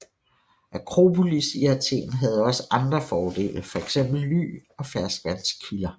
Akropolis i Athen havde også andre fordele fx ly og ferskvandskilder